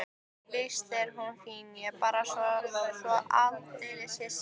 Víst er hún fín, ég er bara svo aldeilis hissa.